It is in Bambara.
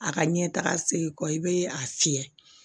A ka ɲɛ taga sen kɔ i bɛ a fiyɛ